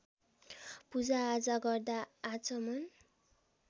पूजाआजा गर्दा आचमन